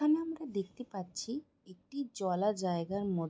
এখানে আমরা দেখতে পাচ্ছি একটি জলা জায়গার ম--